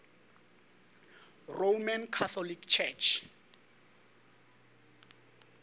roman catholic church